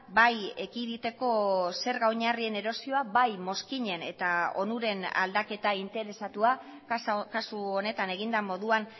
bai ekiditeko zerga oinarrien erosioa bai mozkinen eta onuren aldaketa interesatua kasu honetan egin den moduan